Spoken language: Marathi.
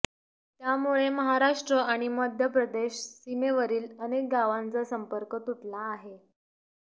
त्यामुळे महाराष्ट्र आणि मध्यप्रदेश सीमेवरील अनेक गावांचा संपर्क तुटला आहे